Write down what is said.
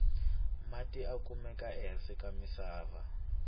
mati ya kamuke ehasi ka misava